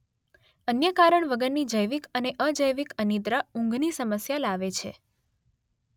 અન્ય કારણ વગરની જૈવિક અને અજૈવિક અનિદ્રા ઊંઘની સમસ્યા લાવે છે